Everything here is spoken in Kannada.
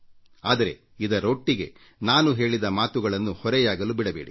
ಆದರೆ ಇದರೊಟ್ಟಿಗೆ ನಾನು ಹೇಳಿದ ಮಾತುಗಳನ್ನು ಹೊರೆಯಾಗಲು ಬಿಡಬೇಡಿ